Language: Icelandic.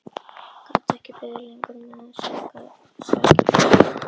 Gat ekki beðið lengur með að gera upp sakir við hann.